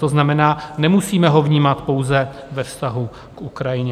To znamená, nemusíme ho vnímat pouze ve vztahu k Ukrajině.